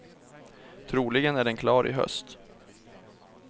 Troligen är den klar i höst.